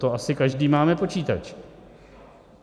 To asi každý máme počítač.